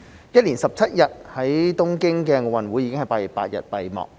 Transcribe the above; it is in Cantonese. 一連17日的東京奧運已在8月8日閉幕。